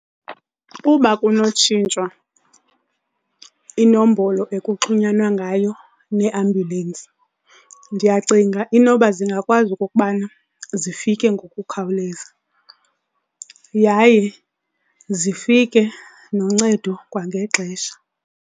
Uba kunotshintshwa inombolo ekuxhunyanwa ngayo neeambulensi ndiyacinga inoba zingakwazi ukokubana zifike ngokukhawuleza yaye zifike noncedo kwangexesha.